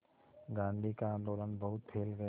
गांधी का आंदोलन बहुत फैल गया